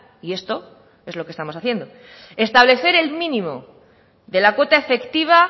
y esto es lo que estamos haciendo establecer el mínimo de la cuota efectiva